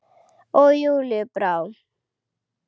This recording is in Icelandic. Og Júlíu brá.